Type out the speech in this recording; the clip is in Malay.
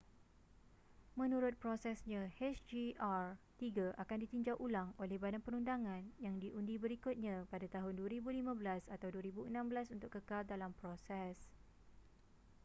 menurut prosesnya hjr-3 akan ditinjau ulang oleh badan perundangan yang diundi berikutnya pada tahun 2015 atau 2016 untuk kekal dalam proses